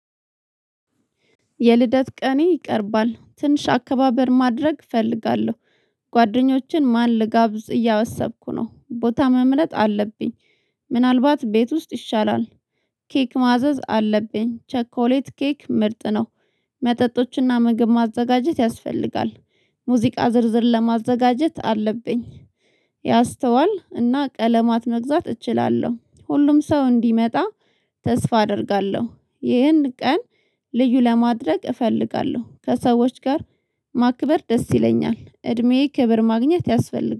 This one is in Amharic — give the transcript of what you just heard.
የልደት ቀኔ ይቀርባል ትንሽ አከባበር ማድረግ እፈልጋለሁ። ጓደኞችን ማን ልጋብዝ እያሰብኩ ነው ቦታ መምረጥ አለብኝ። ምናልባት ቤት ውስጥ ይሻላል። ኬክ ማዘዝ አለብኝ ቸኮሌት ኬክ ምርጥ ነው። መጠጦችና ምግብ ማዘጋጀት ያስፈልጋል። ሙዚቃ ዝርዝር ለማዘጋጀት አለብኝ። ያስተዋል እና ቀለማት መግዛት እችላለሁ ሁሉም ሰው እንዲመጣ ተስፋ አደርጋለሁ። ይህን ቀን ልዩ ለማድረግ እፈልጋለሁ ከሰዎች ጋር ማክበር ደስ ይለኛል እድሜዬ ክብር ማግኘት ያስፈልጋል